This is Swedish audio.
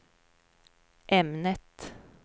ämnet